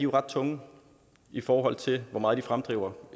ret tunge i forhold til hvor meget de fremdriver